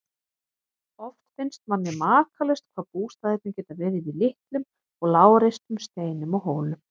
Oft finnst manni makalaust hvað bústaðirnir geta verið í litlum og lágreistum steinum og hólum.